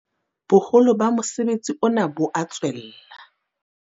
Boholo ba mosebetsi ona bo a tswella.